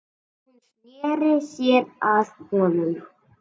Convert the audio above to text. Hún sneri sér að honum.